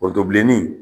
O to bilenni